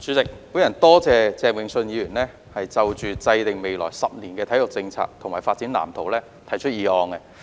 主席，我感謝鄭泳舜議員提出"制訂未來十年體育政策及發展藍圖"議案。